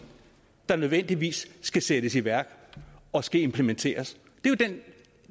der nødvendigvis skal sættes i værk og skal implementeres